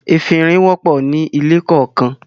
“efinrin” wọ̀pọ̀ ní ilé kọọkan.